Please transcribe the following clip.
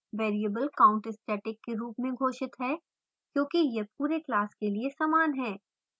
variable count static के रूप में घोषित है क्योंकि यह पूरे class के लिए समान है